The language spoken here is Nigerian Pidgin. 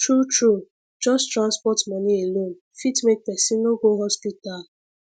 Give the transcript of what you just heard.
true true just transport money alone fit make person no go hospital